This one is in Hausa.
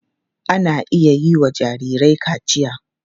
Ana iya yiwa jarirai kaciya.